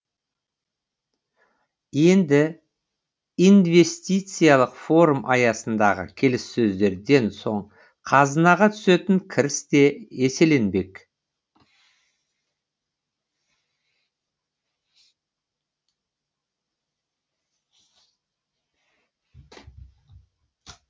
енді инвестициялық форум аясындағы келіссөздерден соң қазынаға түсетін кіріс те еселенбек